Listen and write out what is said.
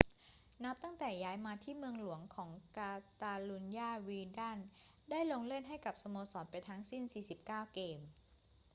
นับตั้งแต่ย้ายมาที่เมืองหลวงของกาตาลุญญา วิดัลได้ลงเล่นให้กับสโมสรไปทั้งสิ้น 49 เกม